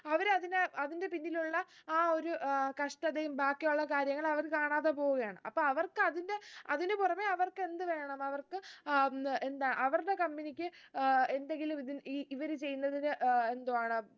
അവര് അതിനെ അതിന്റെ പിന്നിലുള്ള ആ ഒരു ഏർ കഷ്ടതയും ബാക്കിയുള്ള കാര്യങ്ങളും അവര് കാണാതെ പോവുകയാണ് അപ്പൊ അവർക്ക് അതിന്റെ അതിന് പുറമെ അവർക്ക് എന്ത് വേണം അവർക്ക് അഹ് ഉം എന്താ അവരുടെ company ക്ക് ഏർ എന്തെങ്കിലും ഇതിന് ഈ ഇവര് ചെയ്യുന്നതിന് ഏർ എന്തോ ആണ്